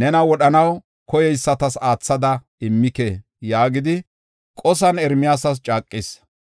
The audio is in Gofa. nena wodhanaw koyeysatas aathada immike” yaagidi qosan Ermiyaasas caaqis.